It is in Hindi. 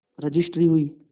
रजिस्ट्री हुई